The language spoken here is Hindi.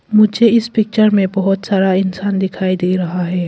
मुझे इस पिक्चर में बहुत सारा इंसान दिखाई दे रहा है।